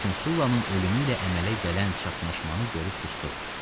Lakin Sullanın ölümü ilə əmələ gələn çaxnaşmanı görüb susdu.